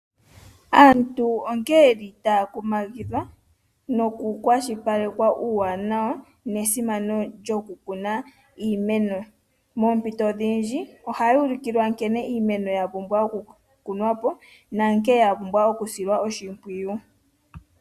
Aantu onkene yeli tayakumagidhwa nokukwashilipaleka uuwanawa nesimaneko lyokukuna iimeno. Moompito odhindji ohaya ulikilwa nkene iimeno yapumbwa oku kunwa po nankene yapumbwa okusilwa oshimpwiyu.